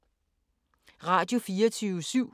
Radio24syv